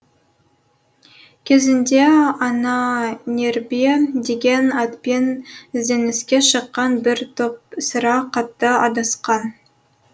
кезінде ананербе деген атпен ізденіске шыққан бір топ сірә қатты адасқан